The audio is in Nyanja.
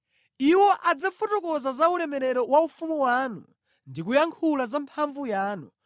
Iwo adzafotokoza za ulemerero wa ufumu wanu ndi kuyankhula za mphamvu yanu,